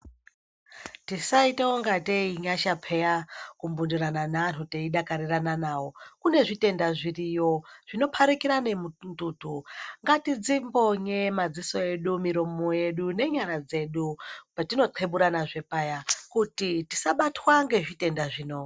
Tisaita kungatei inyasha peya kumbindirana neanhu teidakarirana nawo. Kune zvitenda zviriyo zvonopharikira nemututu. Ngatidzimbonye madziso edu, miromo yedu nenyara dzedu petinokweburanazve paya kuti tisabatwa ngezvitenda zvino.